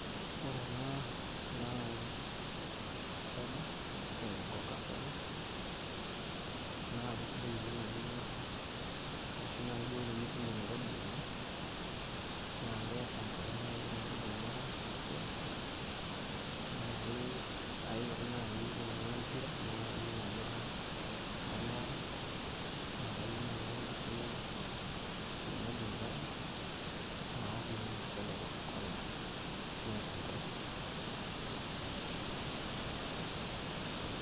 Ore ena naa soda e cocacola naa kesidai oleng' amu ashu duo naai tenitum enairobi oleng' naa kerr enkure neeku ore nkolong'i nataasa ena siai naa ke aewuo ake naai aing'uaa empira naning' ajo katanaure naa kayieu ake naai enkiti kinywaji nairobi naok naa ena soda e cocacola nerr enkure.